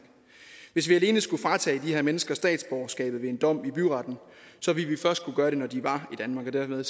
hvis vi alene skulle fratage de her mennesker statsborgerskab ved en dom i byretten ville vi først kunne gøre det når de var i danmark og dermed